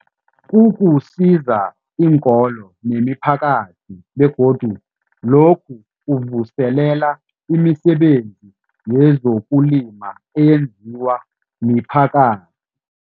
Kuzuzisa iinkolo nemiphakathi begodu lokhu kuvuselela imisebenzi yezokulima eyenziwa miphakathi.